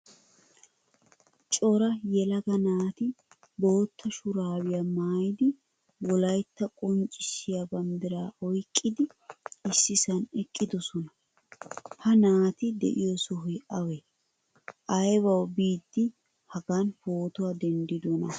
Cora yelaga naati bootta shurabiya maayidi wolaytta qonccisiya banddira oyqqidi issisan eqqidosna. Ha naati de'iyo sohoy awe? Aybawu biidi hagan pootuwaa denddidona?